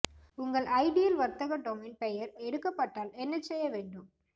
உங்கள் ஐடியல் வர்த்தக டொமைன் பெயர் எடுக்கப்பட்டால் என்ன செய்ய வேண்டும்